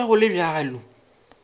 go be go le bjalo